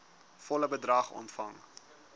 volle bedrag ontvang